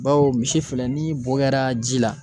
Bawo misi filɛ ni bo kɛra ji la